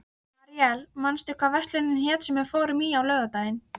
Aríel, manstu hvað verslunin hét sem við fórum í á laugardaginn?